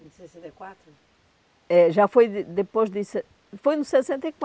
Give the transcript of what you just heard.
em sessenta e quatro, é já foi de depois de foi anos sessenta e